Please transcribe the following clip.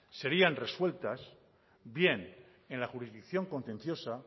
serían resueltas bien en la jurisdicción contenciosa